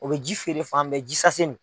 O bɛ ji feere fan bɛɛ nin.